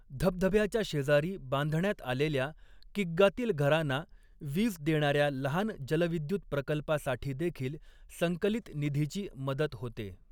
धबधब्याच्या शेजारी बांधण्यात आलेल्या, किग्गातील घरांना वीज देणाऱ्या लहान जलविद्युत प्रकल्पासाठीदेखील संकलित निधीची मदत होते.